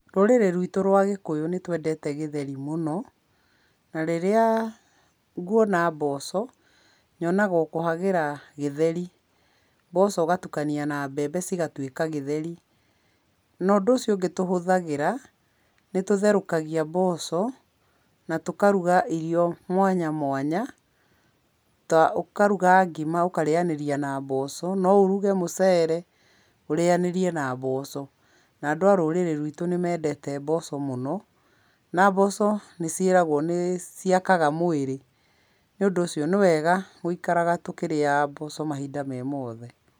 Rũrĩrĩ rwitũ rwa gĩkũyũ nĩtwendete gĩtheri mũno, na rĩrĩa nguona mboco, nyonaga o kũhagĩra gĩtheri, mboco ũgatukania na mbembe cigatuĩka gĩtheri. Na ũndũ ũcio ũngĩ tũhũthagĩra, nĩ tũtherũkagia mboco na tũkaruga irio mwanya mwanya, ta ũkaruga ngima ũkarĩanĩria na mboco, no ũruge mũcere ũrĩanĩrie na mboco. Na andũ a rũrĩrĩ rwitũ nĩ mendete mboco mũno na mboco nĩ ciĩragwo nĩ ciakaga mwĩrĩ, nĩ ũndũ ũcio nĩ wega gũikaraga tũkĩrĩaga mboco mahinda me mothe.